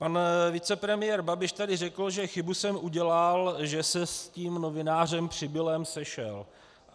Pan vicepremiér Babiš tady řekl, že chybu jsem udělal, že se s tím novinářem Přibilem sešel.